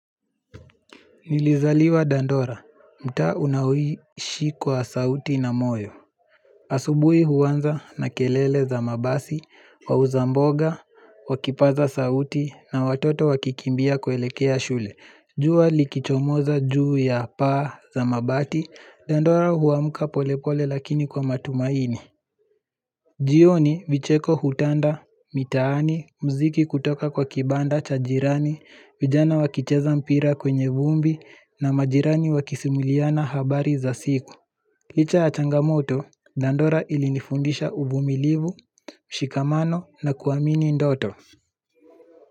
Nilizaliwa dandora, mtaa unaoishi kwa sauti na moyo. Asubuhi huanza na kelele za mabasi, wauza mboga, wakipaza sauti na watoto wakikimbia kuelekea shule. Jua likichomoza juu ya paa za mabati, dandora huamka polepole lakini kwa matumaini. Jioni vicheko hutanda, mitaani, mziki kutoka kwa kibanda cha jirani, vijana wakicheza mpira kwenye vumbi na majirani wakisimuliana habari za siku. Licha ya changamoto, dandora ilinifundisha uvumilivu, mshikamano na kuamini ndoto.